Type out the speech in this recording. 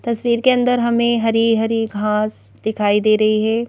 तस्वीर के अंदर हमें हरी हरी घास दिखाई दे रही है।